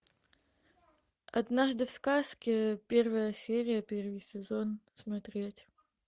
однажды в сказке первая серия первый сезон смотреть